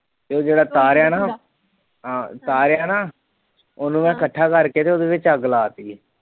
ਤੇ ਜਿਹੜਾ ਤਾਰਿਆ ਨਾ ਤਾਰਿਆ ਨਾ ਉਹਨੂੰ ਮੈਂ ਇਕੱਠਾ ਕਰਕੇ ਤੇ ਉਹਦੇ ਵਿੱਚ ਅੱਗ ਲਾਤੀ ਸੀ।